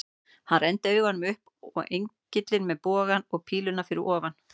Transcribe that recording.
Hann renndi augunum upp á engilinn með bogann og píluna fyrir ofan.